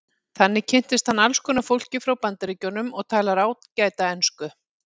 Þannig kynntist hann alls konar fólki frá Bandaríkjunum og talar ágæta ensku.